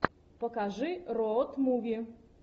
покажи роуд муви